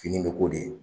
Fini bɛ ko de